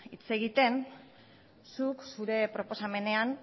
hitz egiten zuk zure proposamenean